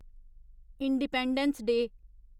independence day